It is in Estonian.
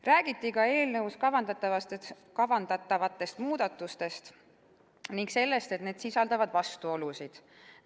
Räägiti ka eelnõuga kavandatavatest muudatustest ning sellest, et need sisaldavad vastuolusid.